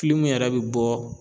kilimu yɛrɛ be bɔ